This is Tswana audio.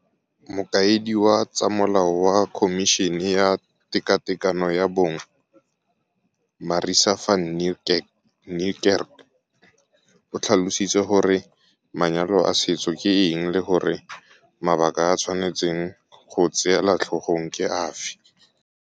Mokaedi wa tsa molao wa Khomišene ya Tekatekano ya Bong, Marissa van Niekerk, o tlhalositse gore manyalo a setso ke eng le gore mabaka a ba tshwanetseng go a tseela tlhogong ke afe.